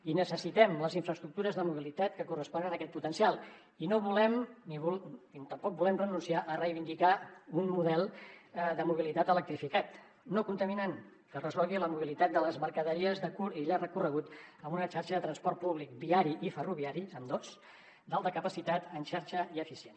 i necessitem les infraestructures de mobilitat que corresponen a aquest potencial i tampoc volem renunciar a reivindicar un model de mobilitat electrificat no contaminant que resolgui la mobilitat de les mercaderies de curt i llarg recorregut amb una xarxa de transport públic viari i ferroviari ambdós d’alta capacitat en xarxa i eficient